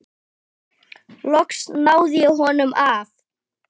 Loks náði ég honum af.